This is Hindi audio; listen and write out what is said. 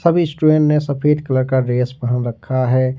सभी स्टूडेंट ने सफेद कलर का ड्रेस पहन रखा है।